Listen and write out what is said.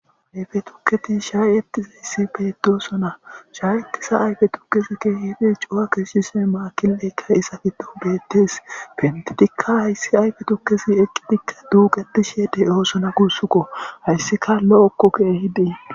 Ayfe tuukey shayettishe diizays betossona shayetiza ayfe tuukezi kehippe cuu'a kesishshe makilaykka iza giddon bettess penttidika hayssi ayfe tuukezi eqqidika duuqqetishe de'ossona gussuka hayssika lo'oko kehippe.